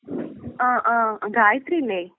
ആഹ് ആഹ് ഗായത്രിയല്ലേ?